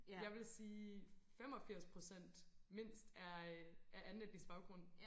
Jeg ville sige 85% mindst er af andenetnisk baggrund